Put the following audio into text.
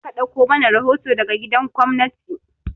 Kai ne za ka ɗauko mana rahoto daga gidan gwamnati!